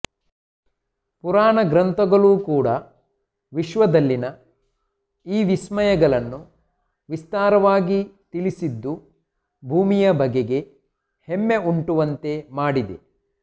ಪುರಾಣ ಗ್ರಂಥಗಳೂ ಕೂಡ ವಿಶ್ವದಲ್ಲಿನ ಈ ವಿಸ್ಮಯಗಳನ್ನು ವಿಸ್ತಾರವಾಗಿ ತಿಳಿಸಿದ್ದು ಭೂಮಿಯ ಬಗೆಗೆ ಹೆಮ್ಮೆ ಉಂಟು ಮಾಡುವಂತೆ ಮಾಡಿದೆ